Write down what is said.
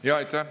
Aitäh!